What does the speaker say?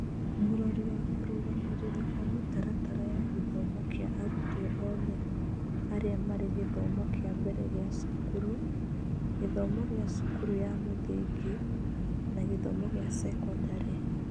Mũrori wa kũrũgamĩrĩra kwa mĩtaratara ya gĩthomo kĩa arutwo othe arĩa marĩ gĩthomo kĩa mbere gĩa cukuru, gĩthomo gĩa cukuru ya mũthingi na gĩthomo gĩa sekondarĩ.